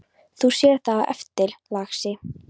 Þú sérð það á eftir, lagsi.